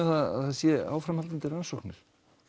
það séu áframhaldandi rannsóknir